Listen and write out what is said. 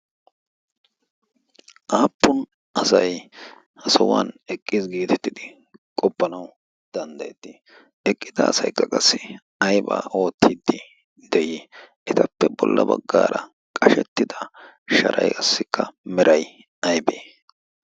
aappun asay ha sahuwan eqqii giitettidi qoppanawu danddayettii eqqida asay ga qassi aibaa oottiiddi de'ii etappe bolla baggaara qashettida sharaiassikka meray aybee?